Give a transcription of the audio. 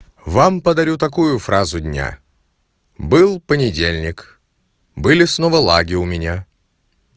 вам подарю такую фразу дня был понедельник были снова лаги у меня